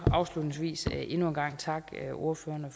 afslutningsvis endnu en gang takke ordførerne